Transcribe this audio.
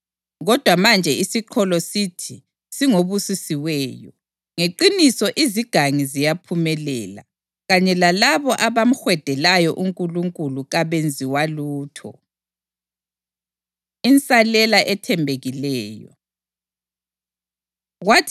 Kodwa manje isiqholo sithi singobusisiweyo. Ngeqiniso izigangi ziyaphumelela, kanye lalabo abamhwedelayo uNkulunkulu kabenziwa lutho.’ ” Insalela Ethembekileyo